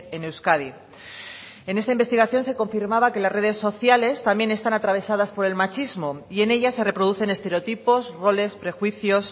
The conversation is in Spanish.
en euskadi en esta investigación se confirmaba que las redes sociales también están atravesadas por el machismo y en ellas se reproducen estereotipos roles prejuicios